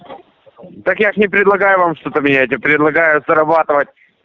так я же не предлагаю вам что-то менять я предлагаю зарабатывать